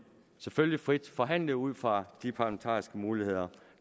selvfølgelig frit forhandle ud fra de parlamentariske muligheder